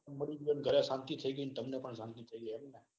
ગરે બી શાંતિ થઇ ગઈ. અને તમને પણ શાંતિ થઇ ગઈ એમ ને.